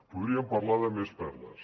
podríem parlar de més perles